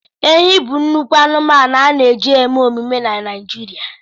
Ehi bụ nnukwu anụmanụ a na-eji eme emume na Naịjirịa.